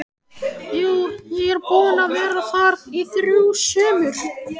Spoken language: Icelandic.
Jú, ég er búinn að vera þar í þrjú sumur